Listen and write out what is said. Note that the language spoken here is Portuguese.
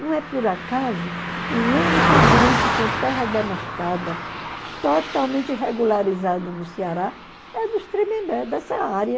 Não é por acaso, o único grupo com terra demarcada, totalmente regularizada no Ceará, é dos Tremembé, dessa área.